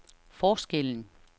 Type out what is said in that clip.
forskellen